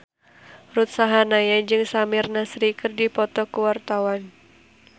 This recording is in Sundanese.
Ruth Sahanaya jeung Samir Nasri keur dipoto ku wartawan